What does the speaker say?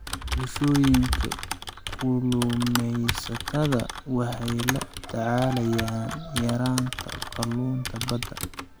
Bulshooyinka kalluumeysatada waxay la tacaalayaan yaraanta kalluunka badda.